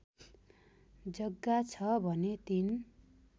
जग्गा छ भने ३